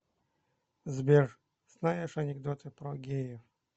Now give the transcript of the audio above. сбер знаешь анекдоты про геев